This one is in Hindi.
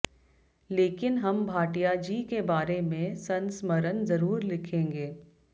लेकिन हम भाटियाजी के बारे में संस्मरण जरूर लिखेंगे